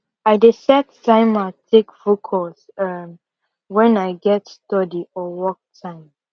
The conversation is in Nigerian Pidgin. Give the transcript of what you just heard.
i dey set timer take focus um wen i get study or work time